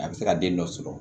A bɛ se ka den dɔ sɔrɔ